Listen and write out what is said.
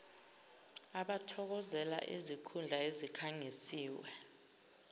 abathokozela izikhundla ezikhangisiwe